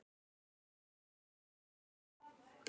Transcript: Átján ár.